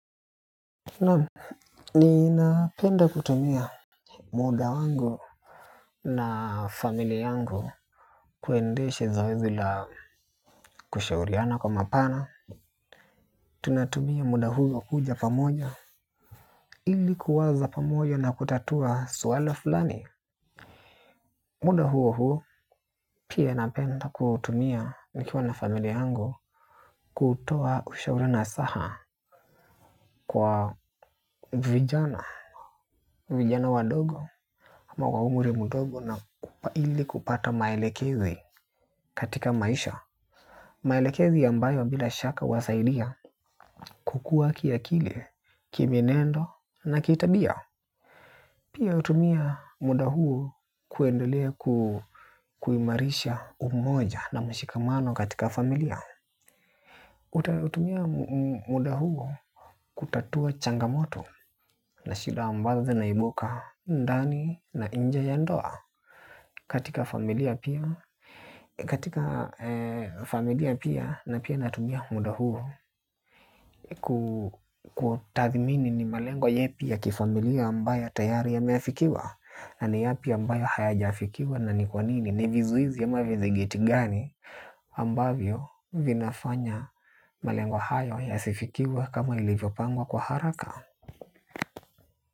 Na ni napenda kutumia muda wango na familie yangu kuendeshe zoezi la kushauriana kwa mapana. Tunatumia muda huo kuja pamoja ilikuwaza pamoja na kutatua swala fulani. Muda huo huo pia napenda kutumia nikiwa na familia yangu kutoa ushauri nasaha kwa vijana. Vijana wadogo, ama wa umri mdogo na ili kupata maelekezi katika maisha. Maelekezi ambayo bila shaka wasaidia kukuwa kiakili, kimienendo na kitabia. Pia utumia muda huo kuendelea kuimarisha umoja na mshikamano katika familia. Utautumia muda huo kutatua changamoto na shida ambazo zinaibuka ndani na inje ya ndoa katika familia pia katika familia pia na pia natumia muda huo. Kutathimini ni malengo yapi ya kifamilia ambayo tayari yameafikiwa na ni yapi ambayo hayajafikiwa na ni kwa nini ni vizuizi ama vinagit gani ambavyo vinafanya malengo hayo ya sifikiwa kama ilivyo pangwa kwa haraka.